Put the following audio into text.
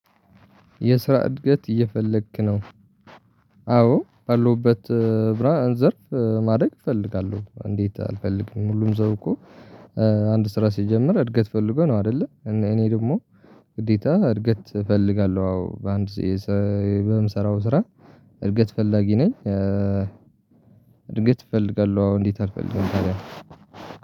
የስራ እድገት እየፈለክ ነው? አዎ ባለውበት ስራ ዘርፍ ማደግ እፈልጋለሁ እንዴት አልፈልግም ሁሉም ሰው እኮ አንድ ስራ ሲጀምር እድገት ፈልጎ ነው አይደለ እኔ ደግሞ ግዴታ እድገት እፈልጋለሁ አዎ በአንድ የሰራው ስራ እድገት ፈላጊ ነኝ እድገት እፈልጋለሁ አዎ እንዴት አልፈልግም ታዲያ